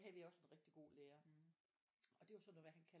Havde vi også en rigtig god lærer og det var sådan noget med at han kaldte